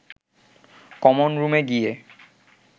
common রুমে গিয়ে